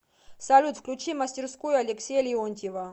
салют включи мастерскую алексея леонтьева